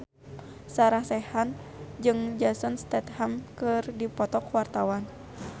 Sarah Sechan jeung Jason Statham keur dipoto ku wartawan